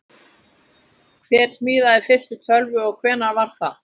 Hver smíðaði fyrstu tölvuna og hvenær var það?